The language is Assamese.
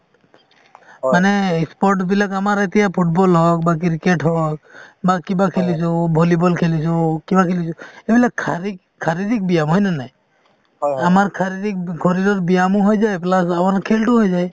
মানে sports বিলাক আমাৰ এতিয়া ফুটবল হওঁক বা ক্ৰিকেট হওঁক বা কিবা খেলিছো বা ভলীব'ল খেলিছো কিবা খেলিছো এইবিলাক শাৰীৰিক শাৰীৰিক ব্যায়াম হয় নে নাই । আমাৰ শাৰীৰিক শৰীৰৰ ব্যয়াম ও হয় যায় plus আমাৰ খেল টোও হৈ যায়